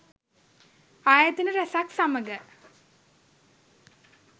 ආයතන රැසක් සමඟ